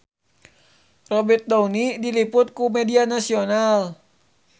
Robert Downey diliput ku media nasional